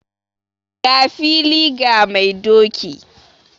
Ga fili ga mai doki